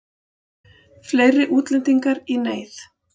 Fleiri útlendingar í neyð